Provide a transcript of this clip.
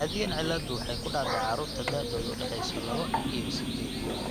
Caadiyan cilladdu waxay ku dhacdaa carruurta da'doodu u dhaxayso laba iyo sided.